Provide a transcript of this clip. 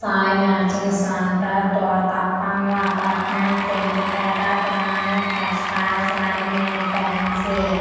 Thai matching centre తో తప్పంగ apartment Chenchupeta Tenali textiles readymade fancy .